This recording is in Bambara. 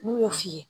N'u y'o f'i ye